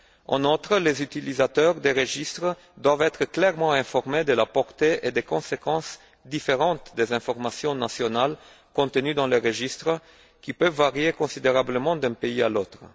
En outre, les utilisateurs des registres doivent être clairement informés de la portée et des différentes conséquences des informations nationales contenues dans le registre, qui peuvent varier considérablement d'un pays à l'autre.